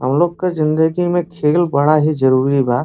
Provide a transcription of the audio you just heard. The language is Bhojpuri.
हमलोग के जिन्दगी में खेल बड़ा ही जरुरी बा।